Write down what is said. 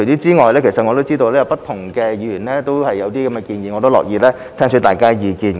此外，我知道不同議員亦有類似建議，我樂意聽取大家的意見。